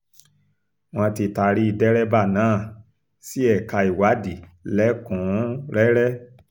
wọ́n ti taari dẹrẹbà náà sí ẹ̀ka ìwádìí lẹ́kùn-ún-rẹ́rẹ́